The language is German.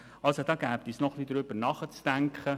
Darüber sollte nachgedacht werden.